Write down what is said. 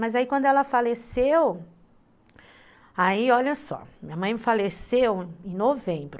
Mas aí, quando ela faleceu, aí, olha só, minha mãe faleceu em novembro.